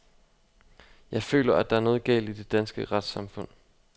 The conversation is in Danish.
Jeg føler, at der er noget galt i det danske retssamfund.